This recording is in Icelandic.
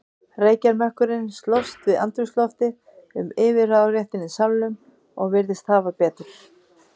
Reykjarmökkurinn slóst við andrúmsloftið um yfirráðaréttinn í salnum og virtist hafa betur.